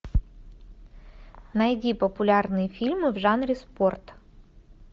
найди популярные фильмы в жанре спорт